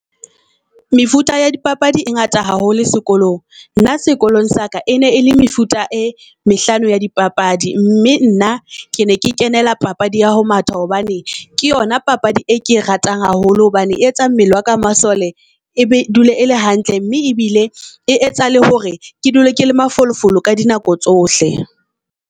Mefuta ya di papadi e ngata haholo sekolong. Nna sekolong sa ka ene e le mefuta e mehlano ya di papadi mme nna ke ne ke kenela papadi ya ho matha. Hobane e ke yona papadi e ke e ratang haholo hobane e etsang mmele wa ka masole ebe dula ele hantle, mme e bile e etsa le hore ke dula ke le mafolofolo ka di nako tsohle.